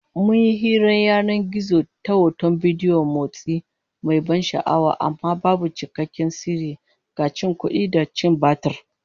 Mun yi hirar yanan gizo ta hoton bidiyo mai motsi, mai ban sha'awa, amma babu cikakken sirri, ga cin kudi da cin batir